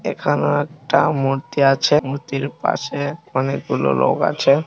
এখনো একটা মূর্তি আছে মূর্তির পাশে অনেকগুলো লোক আছে।